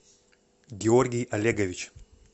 георгий олегович